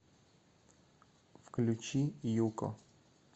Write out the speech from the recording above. включи юко